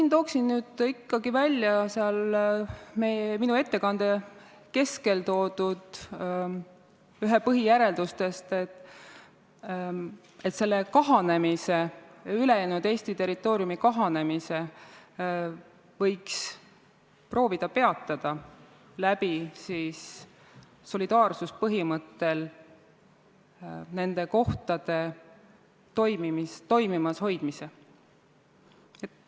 Ma toon ikkagi välja minu ettekande keskel toodud ühe põhijärelduse, et selle kahanemise, ülejäänud Eesti kahanemise võiks proovida peatada solidaarsuspõhimõttel nende kohtade toimimas hoidmise abil.